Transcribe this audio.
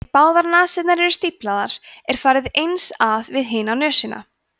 ef báðar nasirnar eru stíflaðar er farið eins að við hina nösina